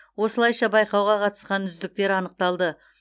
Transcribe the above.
осылайша байқауға қатысқан үздіктер анықталды